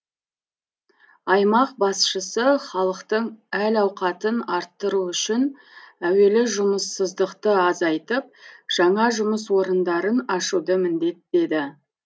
аймақ басшысы халықтың әл ауқатын арттыру үшін әуелі жұмыссыздықты азайтып жаңа жұмыс орындарын ашуды міндеттеді